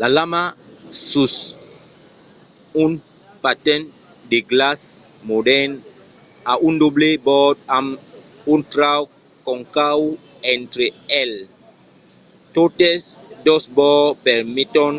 la lama sus un patin de glaç modèrn a un doble bòrd amb un trauc concau entre eles. totes dos bòrds permeton